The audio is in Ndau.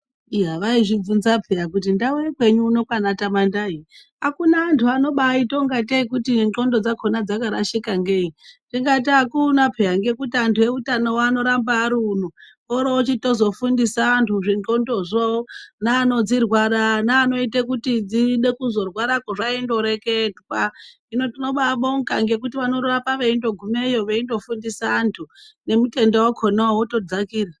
Iya vaizvibvunza peya kuti ndau yekwenyu uno kwaana Tamandai akuna antu anobaita ngatei nxondo dzakona dzakarashika ngei ndikati akuna peya ngekuti antu eutanowo anoramba ariuno orotozofundisa antu zvendxndozvo neanodzirwara neanoita zvaindoreketwa hino tinobaizvibonga ngekuti vanorapa veindogumayo veindofumdisa antu nemutenda wakona wotodzakira.